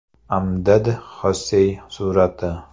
Amdad Xossey surati.